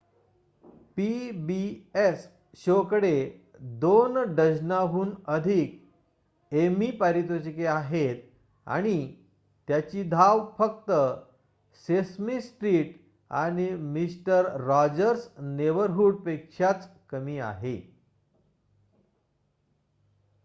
pbs show कडे 2 डझनाहून अधिक एमी पारितोषिके आहेत आणि त्याची धाव फक्त सेसमी स्ट्रीट आणि मिस्टर रॉजर्स नेबरहूड पेक्षाच कमी आहे